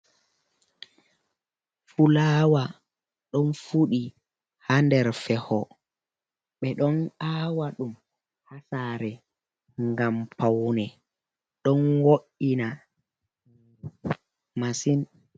Fulaawa, ɗon fuɗi haa nder Feho, ɓe ɗon aawa ɗum haa saare ngam pawne, ɗon wo''ina masin.